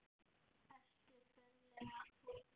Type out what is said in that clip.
Ertu ferlega fúll?